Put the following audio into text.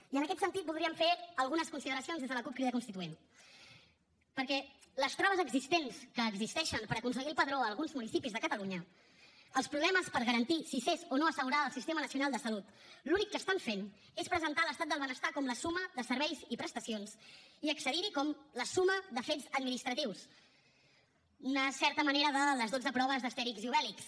i en aquest sentit voldríem fer algunes consideracions des de la cup crida constituent perquè les traves existents que existeixen per aconseguir el padró a alguns municipis de catalunya els problemes per garantir si s’és o no assegurada del sistema nacional de salut l’únic que estan fent és presentar l’estat del benestar com la suma de serveis i prestacions i accedir hi com la suma de fets administratius una certa manera de les dotze proves d’astèrix i obèlix